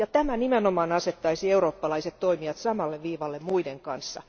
Tämä nimenomaan asettaisi eurooppalaiset toimijat samalle viivalle muiden kanssa.